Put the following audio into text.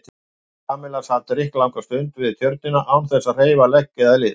Kamilla sat drykklanga stund við Tjörnina án þess að hreyfa legg eða lið.